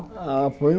Ah, foi um...